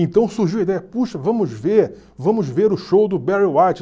Então surgiu a ideia, puxa, vamos ver, vamos ver o show do Barry White.